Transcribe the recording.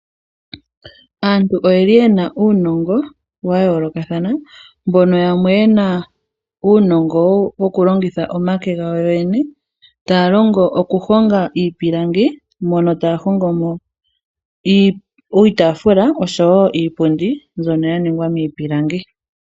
Aantu oyeli yena uunongo wayoolokathana mbono yamwe yena uunongo mboka wokulongitha omake gawo yoyene taya longo okuhonga iipilangi mpono taya hongomo iitafula oshowo iipundi mbyono ya ningwa miipilangi.